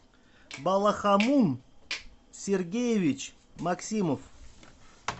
балахамун сергеевич максимов